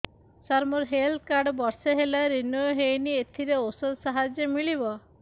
ସାର ମୋର health card ବର୍ଷେ ହେଲା ରିନିଓ ହେଇନି ଏଥିରେ ଔଷଧ ସାହାଯ୍ୟ ମିଳିବ